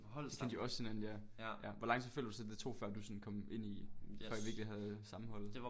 De kendte jo også hinanden ja ja hvor lang tid føler du så det tog før du sådan kom ind i før I virkelig havde sammenholdet